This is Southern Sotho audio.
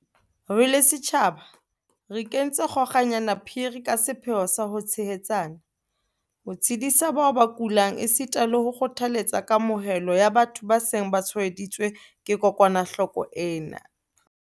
Re le setjhaba re ikentse kgo-kanyana phiri ka sepheo sa ho tshehetsana, ho tshedisa bao ba kulang esita le ho kgothaletsa kamohelo ya batho ba seng ba tshwaeditswe ke kokwanahloko ena.